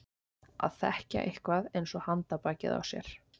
Að þekkja eitthvað eins og handarbakið á sér